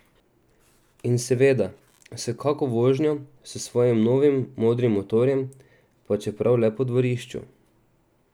In seveda s kako vožnjo s svojim novim modrim motorjem, pa čeprav le po dvorišču!